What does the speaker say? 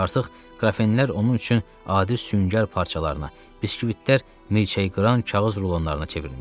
Artıq qrafenlər onun üçün adi süngər parçalarına, biskvitlər mürəkkəbi qıran kağız ruloanlarına çevrilmişdi.